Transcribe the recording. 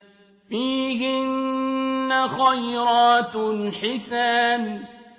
فِيهِنَّ خَيْرَاتٌ حِسَانٌ